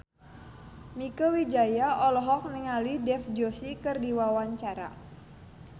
Mieke Wijaya olohok ningali Dev Joshi keur diwawancara